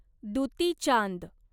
Dutee Chand